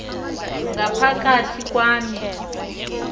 ngapha kathi kwam